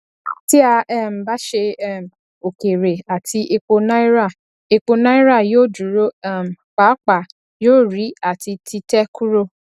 tí a um bá ṣe um òkèèrè àti epo náírà epo náírà yóò dúró um pàápàá yóò rí àti títẹ kúrò